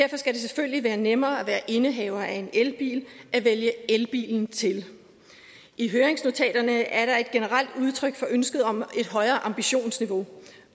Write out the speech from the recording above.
selvfølgelig være nemmere at være indehaver af en elbil at vælge elbilen til i høringsnotaterne er der et generelt udtryk for ønsket om et højere ambitionsniveau